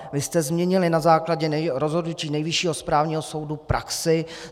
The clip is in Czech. Vy jste změnili na základě rozhodnutí Nejvyššího správního soudu praxi.